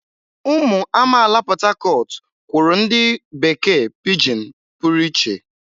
Ụmụ amaala Port Harcourt kwuru ụdị bekee pijin pụrụ iche.